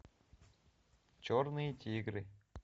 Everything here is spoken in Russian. черные тигры